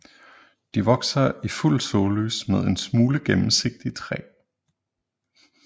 De vokser i fuld sollys med en smule gennemsigtig træ